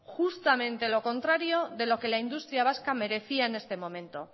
justamente lo contrario de lo que la industria vasca merecía en este momento